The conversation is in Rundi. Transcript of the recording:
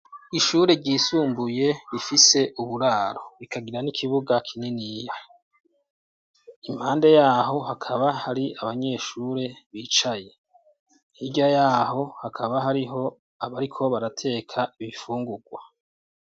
Ishure ryisumbuye rifie uburaro, rikagira n'ikibuga kininiya, impande yaho hakaba hari abanyeshure bicaye, hirya yaho hakaba hariho aho bariko barateka ibifungurwa.